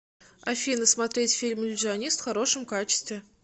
афина смотреть фильм иллюзионист в хорошем качестве